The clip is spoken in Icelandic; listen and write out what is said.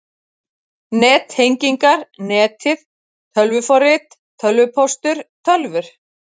NETTENGINGAR, NETIÐ, TÖLVUFORRIT, TÖLVUPÓSTUR, TÖLVUR